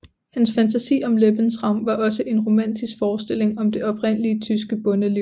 Hans fantasi om Lebensraum var også en romantisk forestilling om det oprindelige tyske bondeliv